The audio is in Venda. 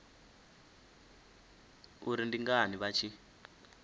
uri ndi ngani vha tshi